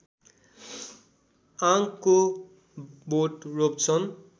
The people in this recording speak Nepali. आंकको बोट रोप्छन्